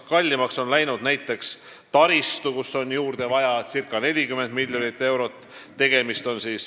Kallines ka näiteks taristu, juurde on vaja circa 40 miljonit eurot.